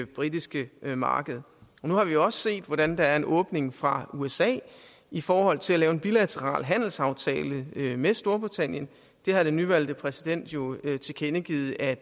britiske marked nu har vi også set hvordan der er en åbning fra usa i forhold til at lave en bilateral handelsaftale med storbritannien det har den nyvalgte præsident jo tilkendegivet at